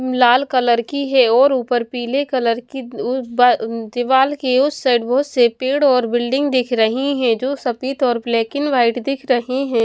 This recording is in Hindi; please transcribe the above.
लाल कलर की है और ऊपर पीले कलर की उल बाल उ दीवाल के उस साइड बहुत से पेड़ और बिल्डिंग दिख रही हैं जो सफेद और ब्लैक एंड वाइट दिख रहे हैं।